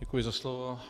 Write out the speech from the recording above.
Děkuji za slovo.